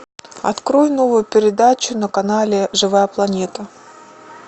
открой новую передачу на канале живая планета